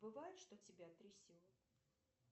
бывает что тебя трясет